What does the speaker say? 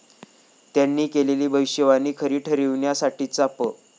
त्यांनी केलेली भविष्यवाणी खरी ठरविण्यासाठीचा प.